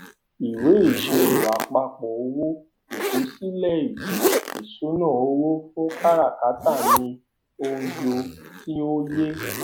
ìwé ìṣirò àpapọ owó ìkọsílẹ ètò ìṣúná owo fún káràkátà ni ọjọ tí ó yẹ